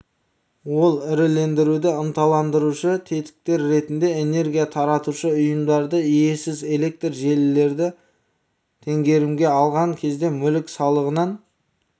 ол ірілендіруді ынталандырушы тетіктер ретінде энергия таратушы ұйымдарды иесіз электр желілерді теңгерімге алған кезде мүлік салығынан